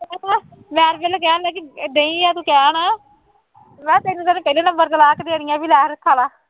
ਮੈਂ ਤਾਂ ਪਹਿਲਾਂ ਕਹਿਣ ਲੱਗੀ ਡੇਈ ਆ ਤੂੰ ਕਹਿਣ ਮੈਂ ਕਿਹਾ ਤੈਨੂੰ ਤਾਂ ਉਹਨੇ ਪਹਿਲੇ ਨੰਬਰ ਤੇ ਲਾਹ ਕੇ ਦੇਣੀਆਂ, ਬਈ ਲੈ ਹੁਣ ਖਾ ਲਾ